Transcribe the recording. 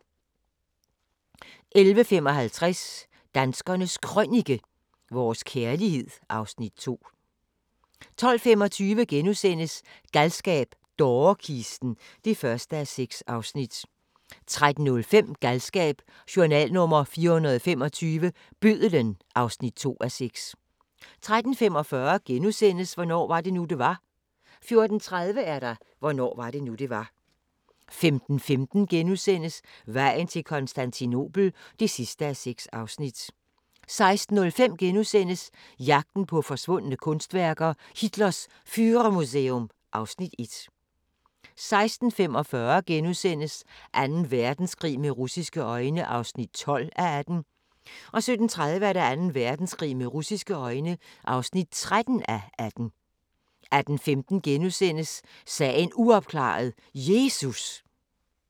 11:55: Danskernes Krønike - vores kærlighed (Afs. 2) 12:25: Galskab - dårekisten (1:6)* 13:05: Galskab: Journal nr. 425 – Bødlen (2:6) 13:45: Hvornår var det nu, det var? * 14:30: Hvornår var det nu, det var? 15:15: Vejen til Konstantinopel (6:6)* 16:05: Jagten på forsvundne kunstværker: Hitlers Führermuseum (Afs. 1)* 16:45: Anden Verdenskrig med russiske øjne (12:18)* 17:30: Anden Verdenskrig med russiske øjne (13:18) 18:15: Sagen uopklaret – Jesus! *